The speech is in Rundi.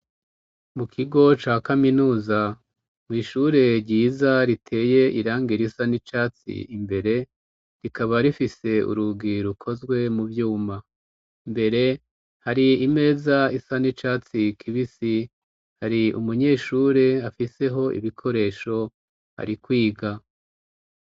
Mu kigo ca kaminuza mw'ishure ryiza riteye irang ir isa n'icatsi imbere rikaba rifise urugi ukozwe mu vyuma mbere hari imeza isa n'icatsi kibisi hari umunyeshure afiseho ibikoresho hari kwiga ga.